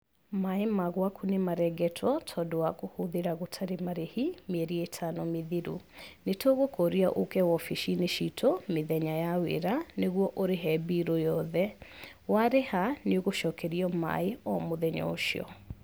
Maĩ ma gwaku nĩmarengetwo tondũ wa kũhũthĩra gũtarĩ marĩhi, mieri ĩtano mĩthiru. Nĩtũgũkũria ũke wobici-inĩ citũ, mĩthenya ya wĩra, nĩguo ũrĩhe birũ yothe, warĩha, nĩũgũcokerio maĩ o mũthenya ũcio.